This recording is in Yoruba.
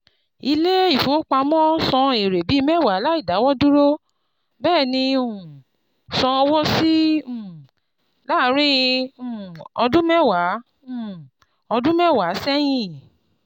Ilé ìfowópamọ́ san èrè bíi mẹ́wa láì dáwọ́dúró, bẹ́ẹ̀ni um san owó síi um láàárín um ọdún mẹ́wa um ọdún mẹ́wa sẹ́yìn.